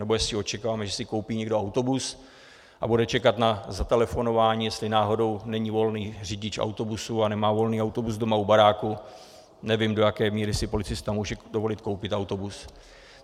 Nebo jestli očekáváme, že si koupí někdo autobus a bude čekat na zatelefonování, jestli náhodou není volný řidič autobusu a nemá volný autobus doma u baráku, nevím, do jaké míry si policista může dovolit koupit autobus.